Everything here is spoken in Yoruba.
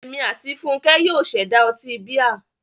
Èmi àti Fúnkẹ́ yóò ṣẹ̀dá ọtí bíà.